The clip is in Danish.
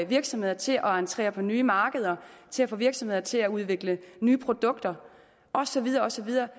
virksomheder til at entrere på nye markeder til at få virksomheder til at udvikle nye produkter og så videre og så videre